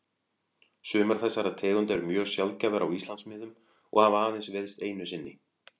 Sumar þessara tegunda eru mjög sjaldgæfar á Íslandsmiðum og hafa aðeins veiðst einu sinni.